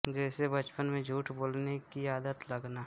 जैसे बचपन में झूठ बोलने की आदत लगना